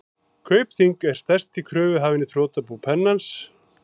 Kaupþing er stærsti kröfuhafinn í þrotabú Pennans.